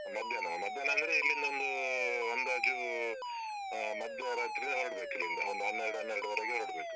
ಮಧ್ಯಾಹ್ನವಾ? ಮಧ್ಯಾಹ್ನ ಅಂದ್ರೆ ಇಲ್ಲಿಂದ ಒಂದೂ ಅಂದಾಜೂ ಹಾ ಮಧ್ಯರಾತ್ರಿಯಲ್ಲಿ ಹೊರಡ್ಬೇಕು ಇಲ್ಲಿಂದ, ಒಂದು ಹನ್ನೆರಡು ಹನ್ನೆರಡುವರೆಗೆ ಹೊರಡ್ಬೇಕು.